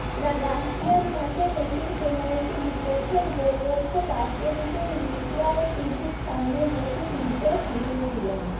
রাশিয়ার মাঠে মেসির পেনাল্টি বিপক্ষের গোলরক্ষক আটকে দিতেই রিষড়ায় টিভির সামনে বসে তীর্যক হেসেছিলেন